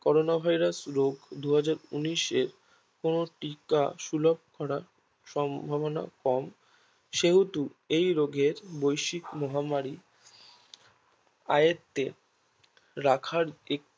করনা Virus রোগ দু হাজার উনিশের কোনো টিকা শুলোভ করা সম্ভবনা কম সেহেতু এই রোগের বৈশ্বিক মহামারী আয়ত্ত্বে রাখার একটি